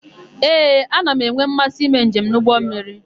Ee, ana m enwe mmasị ime njem n'ụgbọmmiri.